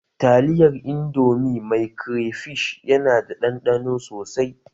Taliyar indomi mai crayfish yana da ɗanɗano sosai